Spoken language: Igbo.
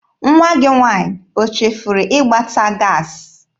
Nwa gị nwaanyị o chefuru ịgbata gaasị?